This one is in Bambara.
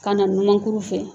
Ka na numankuru fɛ